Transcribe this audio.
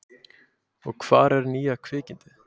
Og hvar er nýja kvikindið?